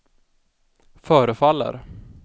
förefaller